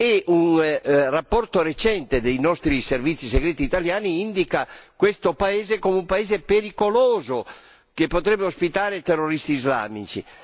E un rapporto recente dei servizi segreti italiani indica questo paese come un paese pericoloso, che potrebbe ospitare terroristi islamici.